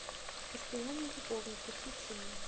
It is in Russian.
постоянные любовники включи мне